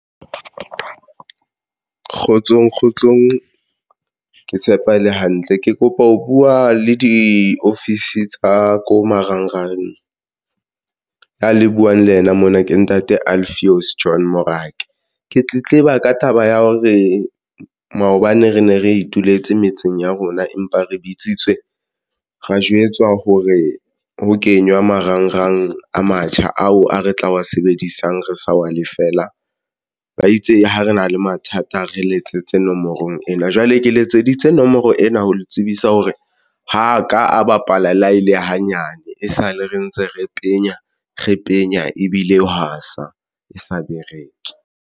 Kgotsong kgotsong, ke tshepa ele hantle ke kopa ho buwa le diofisi tsa ko marangrang ya le buwang le yena mona ke Ntate Alfios Join morake, ke tletleba ka taba ya hore maobane re ne re ituletse metseng ya rona empa re bitsitswe ra jwetswa hore ho kenywa marangrang a matjha ao a re tla wa sebedisang re sa wa lefeela. Ba itse ha re na le mathata, re letsetse nomorong ena, jwale ke letseditse nomoro ena ho le tsebisa hore ho ka a bapala le ha e le hanyane e sale re ntse re penya re penya ebile hwa sa e sa bereke.